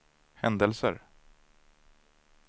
händelser